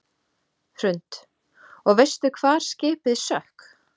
Hrund: Og veistu hvar skipið sökk?